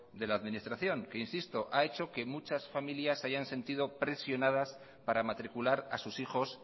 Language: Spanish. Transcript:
de la administración que insisto ha hecho que muchas familias se hayan sentido presionadas para matricular a sus hijos